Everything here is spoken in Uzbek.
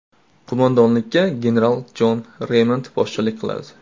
Qo‘mondonlikka general Jon Reymond boshchilik qiladi.